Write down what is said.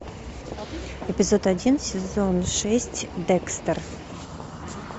эпизод один сезон шесть декстер